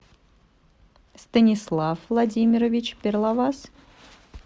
станислав владимирович перловас